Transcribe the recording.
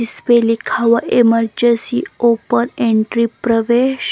इस पे लिखा हुआ है ईमर्जन्सी ओपन एंट्री प्रवेश ।